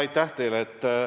Aitäh teile!